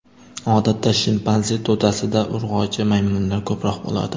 Odatda, shimpanze to‘dasida urg‘ochi maymunlar ko‘proq bo‘ladi.